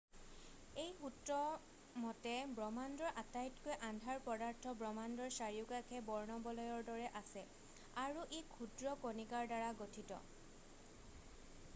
এই সূত্ৰৰ মতে ব্ৰহ্মাণ্ডৰ আটাইতকৈ আন্ধাৰ পদাৰ্থ ব্ৰহ্মাণ্ডৰ চাৰিওকাষে বৰ্ণবলয়ৰ দৰে আছে আৰু ই ক্ষুদ্ৰ কণিকাৰ দ্বাৰা গঠিত